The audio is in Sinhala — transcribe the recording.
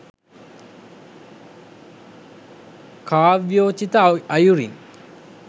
කාව්‍යෝචිත අයුරින්